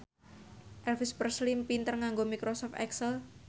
Elvis Presley pinter nganggo microsoft excel